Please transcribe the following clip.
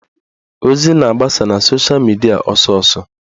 Ozi na-agbasa na sosha midia ọsọsọ